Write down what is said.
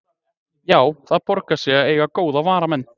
Já, það borgar sig að eiga góða varamenn.